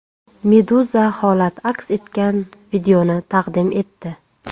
Meduza holat aks etgan videoni taqdim etdi .